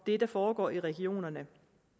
det der foregår i regionerne